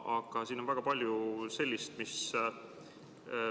Aga siin on ka väga palju muud.